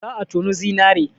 Za a tonu zinare.